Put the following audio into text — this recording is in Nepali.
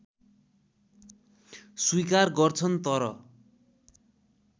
स्वीकार गर्छन् तर